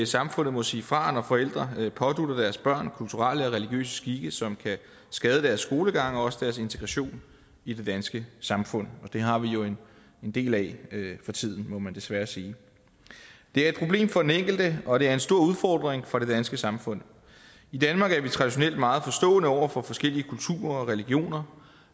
samfundet må sige fra når forældre pådutter deres børn kulturelle eller religiøse skikke som kan skade deres skolegang og også deres integration i det danske samfund det har vi jo en del af for tiden må man desværre sige det er et problem for den enkelte og det er en stor udfordring for det danske samfund i danmark er vi traditionelt meget forstående over for forskellige kulturer og religioner